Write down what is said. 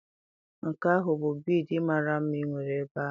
Nke ahụ bụ bịịdii mara mma ị nwere ebe ahụ.